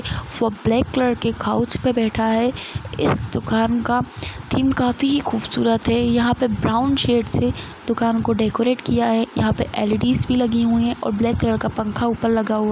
वो black colour के couch पे बैठा है इस दुकान का थीम काफी ही खूबसूरत है यहाँ पे ब्राउन शेड़ से दुकान को डेकोरेट किया है यहाँ पे एल_ई_डी भी लगे हुए है और ब्लैक कलर का पंखा ऊपर लगा--